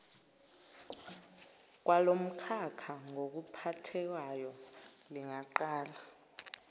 kwalomkhakha ngokuphathekayo lingaqalwa